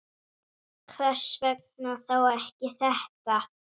Hvers vegna þá ekki þetta?